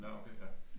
Nå okay ja